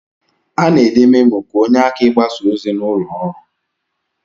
Ana ede memo ka onye aka igbasa ozi na ụlọ ọrụ.